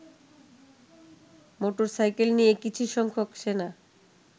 motorcycle নিয়ে কিছু সংখ্যাক সেনা